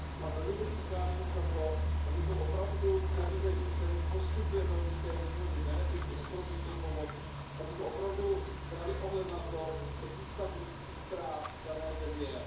A velmi se přikláním k tomu, abychom opravdu u těch zemí, kterým poskytujeme určité výhody, benefity, ekonomickou pomoc, brali ohled na to, jaký stav lidských práv v dané zemi je.